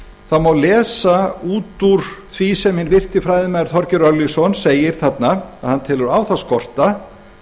það má lesa út úr því sem hinn virti fræðimaður þorgeir örlygsson segir þarna að hann telur á það skorta